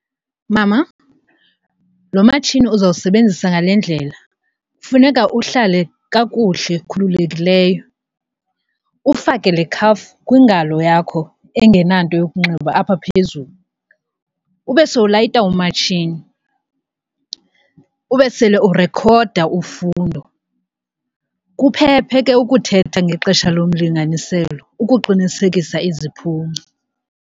Mama, lo matshini uzawusebenzisa ngale ndlela. Funeka uhlale kakuhle khululekileyo, ufake le khafu kwingalo yakho engenanto yokunxiba apha phezulu ube sowulayitya umatshini, ube sele urekhoda ufundo. Kuphephe ke ukuthetha ngexesha lomlinganiselo ukuqinisekisa iziphumo.